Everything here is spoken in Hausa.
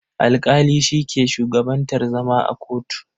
Alƙali shi ke shugabantar zama a kotu.